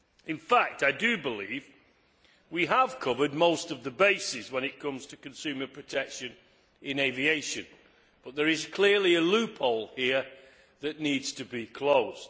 In fact, I believe we have covered most of the bases when it comes to consumer protection in aviation, but there is clearly a loophole here that needs to be closed.